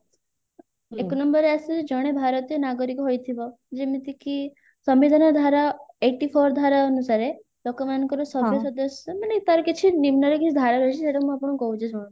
ଏକ number ରେ ଆସେ ଜଣେ ଭାରତୀୟ ନାଗରିକ ହୋଥିବ ଯେମିତି କି ସମ୍ବିଧାନର ଧାରା eighty four ଧାରା ଅନୁସାରେ ଲୋକମାନଙ୍କର ସଭ୍ୟ ସଦସ୍ୟ ମାନେ ତାର କିଛି ନିମ୍ନରେ କିଛି ଧାରା ରହିଛି ସେଟାକୁ ମୁଁ ଆପଣଙ୍କୁ କହୁଛି ଶୁଣନ୍ତୁ